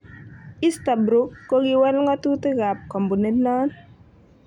Easterbrook kokiwal ngo'tutik kap kompunit non.